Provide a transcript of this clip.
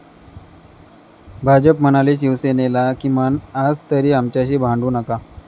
भाजप म्हणाले शिवसेनेला, 'किमान आजतरी आमच्याशी भांडू नका'